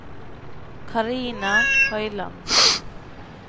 Carina Høiland